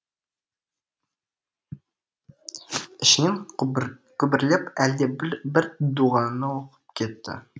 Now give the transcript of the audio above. ішінен күбірлеп әлде бір дұғаны оқып кетті